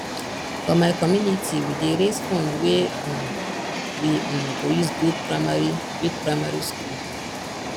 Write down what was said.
for my community we dey raise fund wey um we um go use build primary build primary school